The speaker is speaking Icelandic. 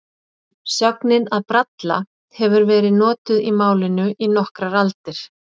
Sögnin að bralla hefur verið notuð í málinu í nokkrar aldir.